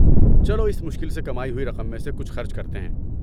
چلو اس مشکل سے کمائی ہوئی رقم میں سے کچھ خرچ کرتے ہیں۔